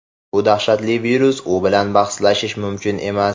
Bu dahshatli virus, u bilan bahslashish mumkin emas.